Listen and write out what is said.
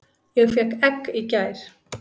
Ég fékk egg í gær.